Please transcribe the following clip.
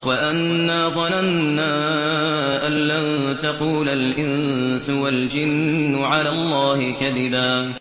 وَأَنَّا ظَنَنَّا أَن لَّن تَقُولَ الْإِنسُ وَالْجِنُّ عَلَى اللَّهِ كَذِبًا